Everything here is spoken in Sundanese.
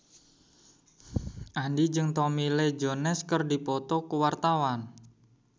Andien jeung Tommy Lee Jones keur dipoto ku wartawan